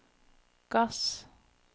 gass